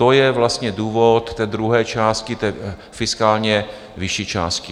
To je vlastně důvod té druhé části, té fiskálně vyšší části.